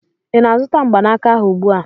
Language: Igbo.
ị na-azụta mgbanaka ahụ ugbu a?